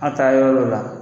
a taa yɔrɔ lɔ la.